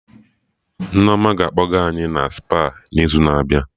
Nneoma ga-akpọga any Spa n'izu na-abịa